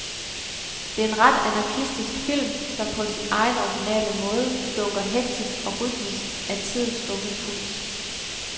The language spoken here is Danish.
Det er en ret anarkistisk film, som på sin egen originale måde dunker hektisk og rytmisk af tidens unge puls.